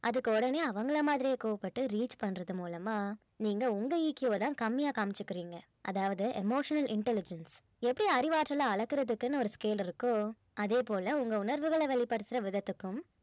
அதுக்கு உடனே அவங்கள மாதிரியே கோபப்பட்டு reach பண்றது மூலமா நீங்க உங்க EQ வ தான் கம்மியா காமிச்சிக்குறீங்க அதாவது emotional intelligence எப்படி அறிவாற்றலை அளக்கறதுக்குன்னு ஒரு scale இருக்கோ அதே போல உங்க உணர்வுகளை வெளிப்படுத்துற விதத்திற்கும்